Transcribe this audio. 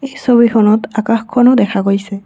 এই ছবিখনত আকাশখনো দেখা গৈছে।